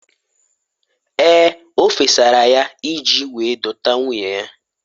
Ee! O fesara ya iji wee dọta nwunye ya.